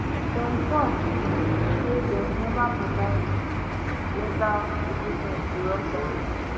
dem tok um say dem neva provide um lethal equipment to russia and